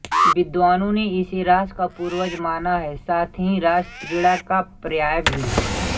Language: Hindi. विद्वानों ने इसे रास का पूर्वज माना है साथ ही रासक्रीड़ा का पर्याय भी